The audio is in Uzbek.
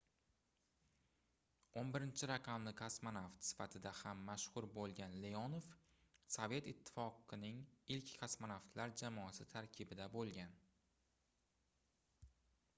11-raqamli kosmonavt sifatida ham mashhur boʻlgan leonov sovet ittifoqining ilk kosmonavtlar jamoasi tarkibida boʻlgan